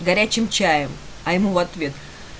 горячим чаем а ему в ответ